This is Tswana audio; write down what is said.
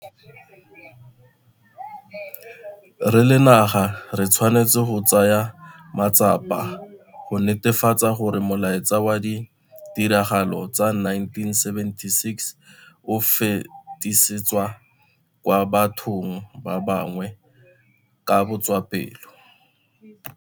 Re le naga re tshwanetse go tsaya matsapa go netefatsa gore molaetsa wa ditiragalo tsa 1976 o fetisetswa kwa bathong ba bangwe ka botswapelo.